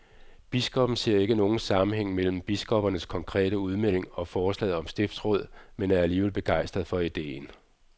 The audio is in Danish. Biskoppen ser ikke nogen sammenhæng mellem biskoppernes konkrete udmelding og forslaget om stiftsråd, men er alligevel begejstret for ideen.